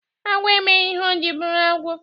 Agwọ emeghi ihe o ji bụrụ agwọ..